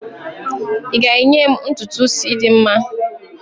ị ga-enye m ntutu isi dị mma?